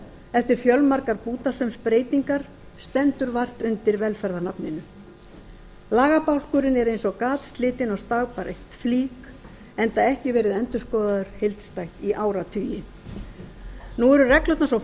eftir fjölmargar bútasaumsbreytingar stendur vart undir velferðarnafninu lagabálkurinn er eins og gatslitin og stagbætt flík enda ekki verið endurskoðaður heildstætt í áratugi nú eru reglurnar svo